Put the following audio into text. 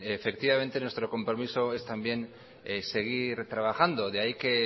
efectivamente nuestro compromiso es también seguir trabajando de ahí que